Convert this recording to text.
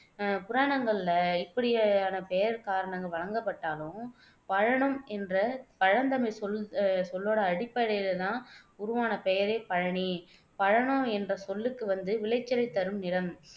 அஹ் புராணங்களில இப்படியான பெயர்க் காரணங்கள் வழங்கப்பட்டாலும் பழனம் என்ற பழந்தமிழ்ச் சொல் அஹ் சொல்லோட அடிப்படையில தான் உருவான பெயரே பழனி. பழனம் என்ற சொல்லுக்கு வந்து விளைச்சலைத் தரும் நிலம்